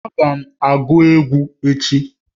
Agam abu egwu echi